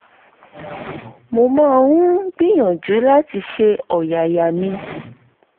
mo máa ń gbìyànjú láti ṣe ọ̀yàyà ní